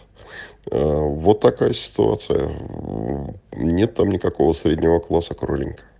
ээ вот такая ситуация нет там никакого среднего класса кроленька